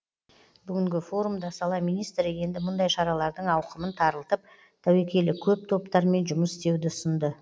бүгінгі форумда сала министрі енді мұндай шаралардың ауқымын тарылтып тәуекелі көп топтармен жұмыс істеуді ұсынды